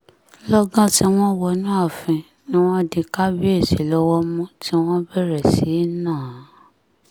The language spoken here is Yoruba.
lọ́gán tí wọ́n wọnú ààfin ni wọ́n di kábíyèsí lọ́wọ́ mú tí wọ́n bẹ̀rẹ̀ sí í ná an